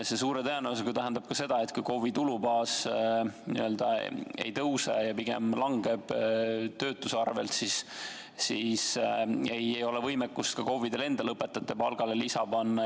See suure tõenäosusega tähendab ka seda, et kui KOV-i tulubaas ei tõuse ja pigem langeb töötuse arvelt, siis ei ole võimekust ka KOV-idel endal õpetajate palgale lisa panna.